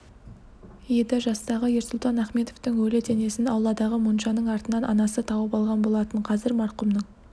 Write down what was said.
еді жастағы ерсұлтан ахметовтың өлі денесін ауладағы моншаның артынан анасы тауып алған болатын қазір марқұмның